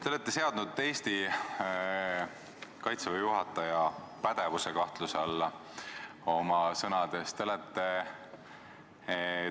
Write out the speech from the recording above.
Te olete seadnud Eesti Kaitseväe juhataja pädevuse oma sõnadega kahtluse alla.